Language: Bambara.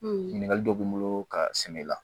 ɲininkali dɔ bɛ n bolo ka sɛnɛ la